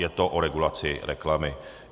Je to o regulaci reklamy.